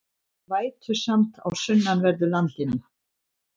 Vætusamt á sunnanverðu landinu